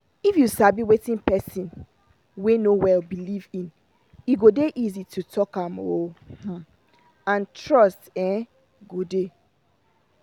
if you sabi wetin person wey no well believe in e go dey easy to talk to am um and trust um go dey